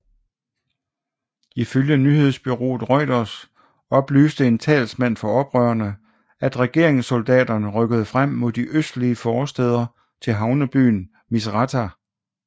Ifølge nyhedsbureauet Reuters oplyste en talsmand for oprørerne at regeringssoldaterne rykkede frem mod de østlige forstæder til havnebyen Misratah